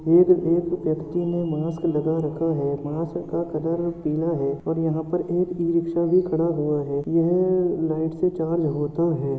एक एक व्यक्ति ने मास्क लगा रखा है। मास्क का कलर पीला है और यहाँ पर एक ई-रीक्शा भी खड़ा हुआ है। यह लाइट से चार्ज होता है।